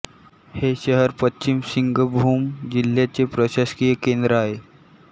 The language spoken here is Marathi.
हे शहर पश्चिम सिंगभूम जिल्ह्याचे प्रशासकीय केंद्र आहे